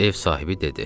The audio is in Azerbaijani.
Ev sahibi dedi: